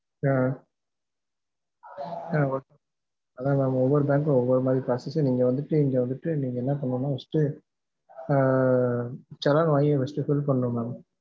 அஹ் ah okay அதான் mam ஒவ்வொரு பேங்க்ளையும் ஒவ்வொரு மாதிரி process நீங்க வந்துட்டு இங்க வந்துட்டு நீங்க என்ன பண்ணனும்னா first டு ஆஹ் challan வாங்கி first fill பண்ணனும் mam